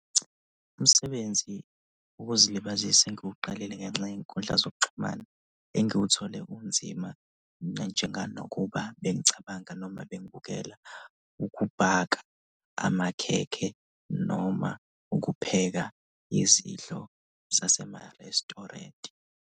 Umsebenzi wokuzilibazisa engiwuqalile ngenxa yey'nkundla zokuxhumana engiwuthole unzima njenga nokuba bengicabanga noma bengibukela ukubhaka amakhekhe noma ukupheka izidlo zasema-restaurant.